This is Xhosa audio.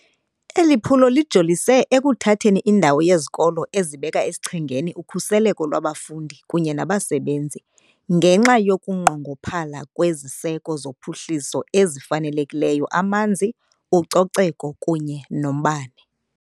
Eli phulo lijolise ekuthatheni indawo yezikolo ezibeka esichengeni ukhuseleko lwabafundi kunye nabasebenzi, ngenxa yokunqongophala kweziseko zophuhliso ezifanelekileyo, amanzi, ucoceko kunye nombane.